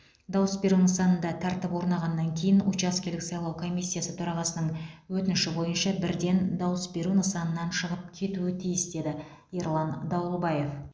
дауыс беру нысанында тәртіп орнағаннан кейін учаскелік сайлау комиссиясы төрағасының өтініші бойынша бірден дауыс беру нысанынан шығып кетуі тиіс деді ерлан дауылбаев